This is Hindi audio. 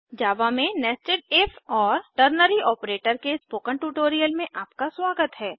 जावा में nested इफ और टर्नरी आपरेटर के स्पोकन ट्यूटोरियल में आपका स्वागत है